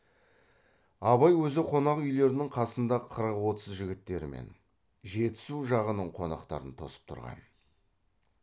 абай өзі қонақ үйлерінің қасында қырық отыз жігіттермен жетісу жағының қонақтарын тосып тұрған